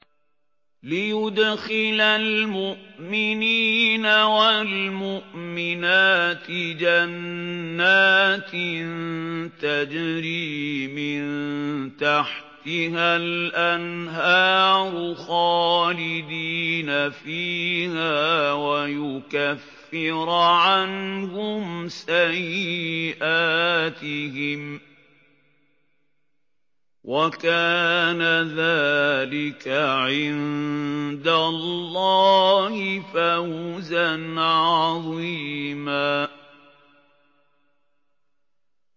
لِّيُدْخِلَ الْمُؤْمِنِينَ وَالْمُؤْمِنَاتِ جَنَّاتٍ تَجْرِي مِن تَحْتِهَا الْأَنْهَارُ خَالِدِينَ فِيهَا وَيُكَفِّرَ عَنْهُمْ سَيِّئَاتِهِمْ ۚ وَكَانَ ذَٰلِكَ عِندَ اللَّهِ فَوْزًا عَظِيمًا